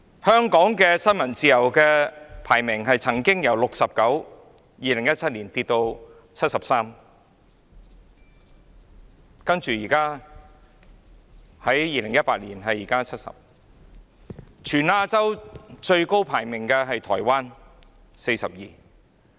香港的新聞自由排名則由2017年的第六十九位下跌至第七十三位，到了2018年排名第七十位。